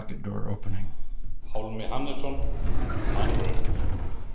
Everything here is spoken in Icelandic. Pálmi Hannesson: Mannraunir.